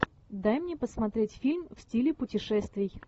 дай мне посмотреть фильм в стиле путешествий